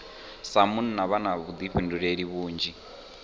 sa munna vha na vhuḓifhinduleli vhunzhi